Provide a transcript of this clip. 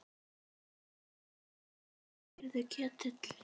Heyrðu Ketill.